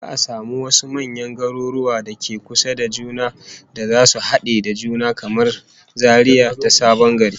Za'a samu wasu manyan garuruwan da ke kusa da juna da zasu hade da juna, kamar Zaria da Sabon Gari